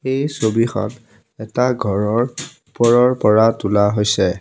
এই ছবিখন এটা ঘৰৰ ওপৰৰ পৰা তোলা হৈছে।